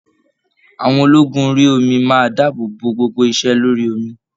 Àwọn ológun orí omi máa dáàbò bò gbogbo ise lórí omi.